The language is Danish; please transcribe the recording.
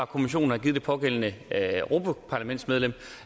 kommissionen har givet det pågældende europaparlamentsmedlem